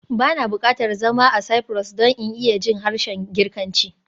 Ba na buƙatar zama a Cyprus don in iya jin harshen Girkanci